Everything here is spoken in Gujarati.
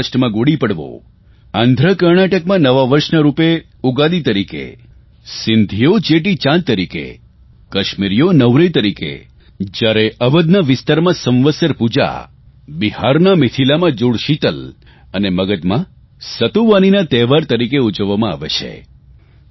મહારાષ્ટ્રમાં ગુડી પડવો આંધ્રકર્ણાટકમાં નવા વર્ષના રૂપે ઉગાદી તરીકે સિંધીઓ ચેટીચાંદ તરીકે કશ્મીરીઓ નવરેહ તરીકે જયારે અવધના વિસ્તારમાં સંવત્સર પૂજા બિહારના મિથિલામાં જુડશીતલ અને મગધના સતુવાનીના તહેવાર તરીકે ઉજવવામાં આવે છે